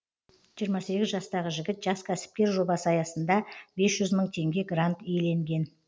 жиырма сегіз жастағы жігіт жас кәсіпкер жобасы аясында бес жүз мың теңге грант иеленген